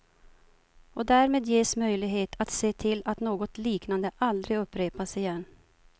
Och därmed ges möjlighet att se till att något liknande aldrig upprepas igen.